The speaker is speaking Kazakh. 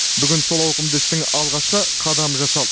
бүгін сол ауқымды істің алғашқы қадамы жасалды